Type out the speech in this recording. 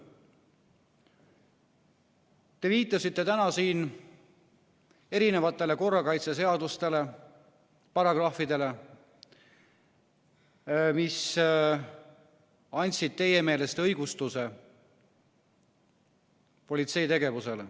Te viitasite täna siin erinevatele korrakaitseseaduse paragrahvidele, mis andsid teie meelest õigustuse politsei tegevusele.